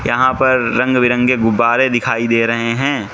यहां पर रंग बिरंगे गुब्बारे दिखाई दे रहे हैं।